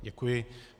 Děkuji.